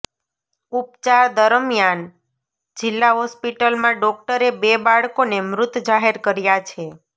ઉપચાર દરમિયાન જિલ્લા હોસ્પિટલમાં ડોક્ટરે બે બાળકોને મૃત જાહેર કર્યા છે